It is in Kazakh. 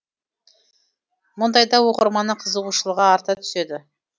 мұндайда оқырманның қызығушылығы арта түседі